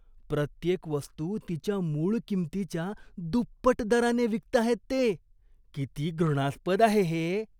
प्रत्येक वस्तू तिच्या मूळ किंमतीच्या दुप्पट दराने विकताहेत ते. किती घृणास्पद आहे हे.